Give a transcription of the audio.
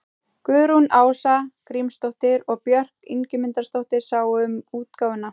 Guðrún Ása Grímsdóttir og Björk Ingimundardóttir sáu um útgáfuna.